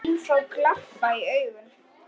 Menn fá glampa í augun.